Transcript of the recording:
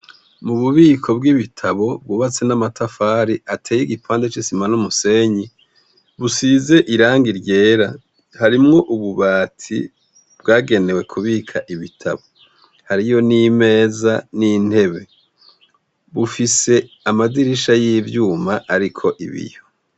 Mu bubiko bw'ibitabo bwubatse n'amatafari ateye igipande c'isima n' musenyi busize iranga ryera harimwo ububati bwagenewe kubika ibitabo hariyo n'imeza n'intebe bufise amadirisha y'ibyuma ariko ibiyo.